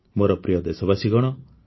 ମୋର ପ୍ରିୟ ଦେଶବାସୀଗଣ